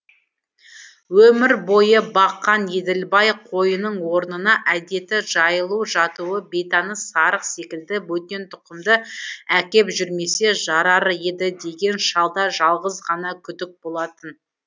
өмір бойы баққан еділбай қойының орнына әдеті жайылуы жатуы бейтаныс сарық секілді бөтен тұқымды әкеп жүрмесе жарар еді деген шалда жалғыз ғана күдік болатын